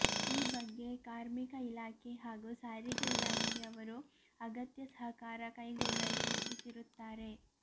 ಈ ಬಗ್ಗೆ ಕಾರ್ಮಿಕ ಇಲಾಖೆ ಹಾಗೂ ಸಾರಿಗೆ ಇಲಾಖೆಯವರು ಅಗತ್ಯ ಸಹಕಾರ ಕೈಗೊಳ್ಳಲು ಸೂಚಿಸಿರುತ್ತಾರೆ